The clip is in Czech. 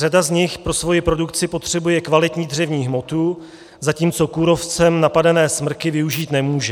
Řada z nich pro svoji produkci potřebuje kvalitní dřevní hmotu, zatímco kůrovcem napadené smrky využít nemůže.